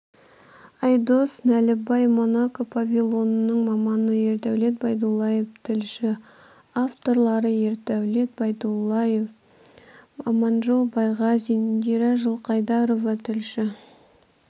айдос нәлібай монако павильонының маманы ердәулет байдуллаев тілші авторлары ердәулет байдуллаев аманжол байғазин индира жылқайдарова тілші